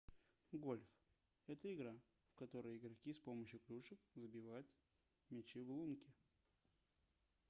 гольф это игра в которой игроки с помощью клюшек забивают мячи в лунки